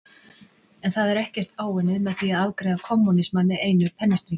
En það er ekkert áunnið með því að afgreiða kommúnismann með einu pennastriki.